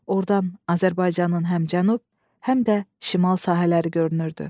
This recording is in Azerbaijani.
Ordan Azərbaycanın həm cənub, həm də şimal sahələri görünürdü.